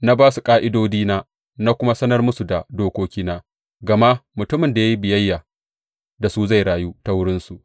Na ba su ƙa’idodina na kuma sanar musu da dokokina, gama mutumin da ya yi biyayya da su zai rayu ta wurinsu.